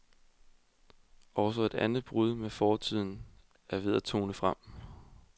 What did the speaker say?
Også et andet brud med fortiden er ved at tone frem.